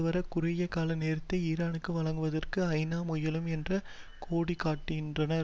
வர குறுகிய கால நேரத்தை ஈரானுக்கு வழங்குவதற்கு ஐ நா முயலும் என்று கோடிக்காட்டினார்